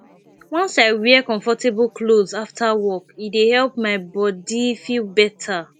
once i wear comfortable clothes after work e dey help my body feel better